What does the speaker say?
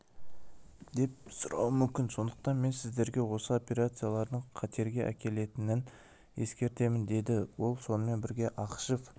деп сұрауы мүмкін сондықтан мен сіздерге осы операциялардың қатерге әкелетінін ескертемін деді ол сонымен бірге ақышев